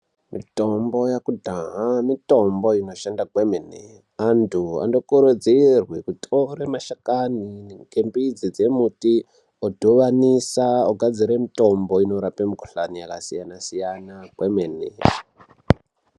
Mitombo yakudhahaa mitombo inoshanda kwemene andu anokurudzirwe kutore mashakani ngembidzi dzomuti odhuvanisa ogadzire mitombo inorape mikhuhlani yakasiyana siyana kwemene.